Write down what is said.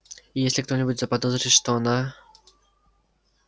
и если кто-нибудь заподозрит что она